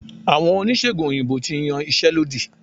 Àwọn Oníṣègùn òyìnbó ti yan iṣẹ́ lódì.